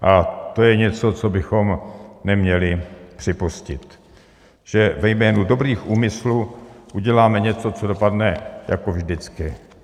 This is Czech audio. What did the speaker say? A to je něco, co bychom neměli připustit, že ve jménu dobrých úmyslů uděláme něco, co dopadne jako vždycky.